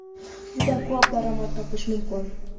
juda ko‘p daromad topish mumkin.